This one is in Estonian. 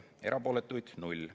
Erapooletuid ei olnud.